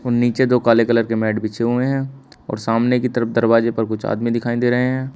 नीचे दो काले कलर के मैट हुए हैं और सामने की तरफ दरवाजे पर कुछ आदमी दिखाई दे रहे हैं।